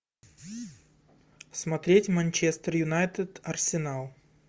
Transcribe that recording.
смотреть манчестер юнайтед арсенал